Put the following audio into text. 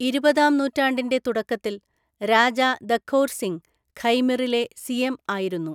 ഇരുപതാം നൂറ്റാണ്ടിൻ്റെ തുടക്കത്തിൽ, രാജാ ദഖോർ സിംഗ് ഖൈമിറിലെ സിയെം ആയിരുന്നു.